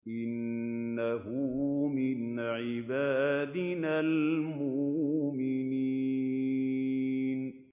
إِنَّهُ مِنْ عِبَادِنَا الْمُؤْمِنِينَ